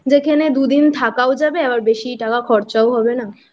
যেখানে দুদিন থাকাও যাবে আর বেশি টাকাও খরচা হবে না।